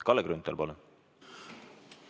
Kalle Grünthal, palun!